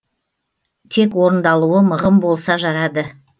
тек орындалуы мығым болса жарады